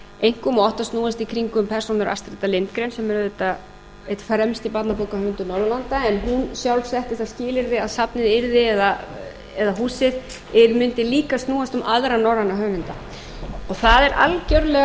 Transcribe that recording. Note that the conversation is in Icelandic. einkum og átti að snúast í kringum persónur astrid lindgren sem er auðvitað einn fremsti barnabókahöfundur norðurlanda en hún sjálf setti það skilyrði að safnið yrði eða húsið mundi líka snúast um aðra norræna höfunda það er algjörlega